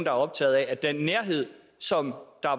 er optaget af at den nærhed som